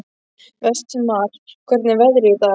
Vestmar, hvernig er veðrið í dag?